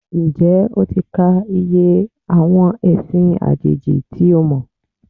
Ǹjẹ́ o ti ka iye àwọn ẹ̀sìn àjèjì tí o mọ̀?